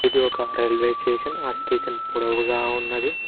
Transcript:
ఇది ఒక రైల్వేస్టేషన్ ఆ స్టేషన్ పొదువుగా ఉన్నది.